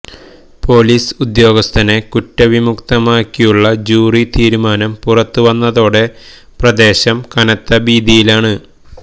police ഉദ്യോഗസ്ഥനെ കുറ്റവിമുക്തമാക്കിയുള്ള jury തീരുമാനം പുറത്തുവന്നതോടെ പ്രദേശം കനത്ത ഭീതിയിലാണ്